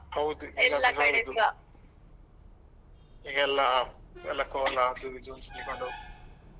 ಹೌದು ಈಗ ಎಲ್ಲ ಎಲ್ಲ ಕೋಲಾ ಅದು ಇದು ಅಂತ ಹೇಳ್ಕೊಂಡು .